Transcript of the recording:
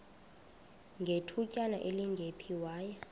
ngethutyana elingephi waya